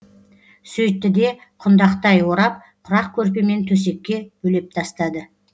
сөйтті де құндақтай орап құрақ көрпемен төсекке бөлеп тастады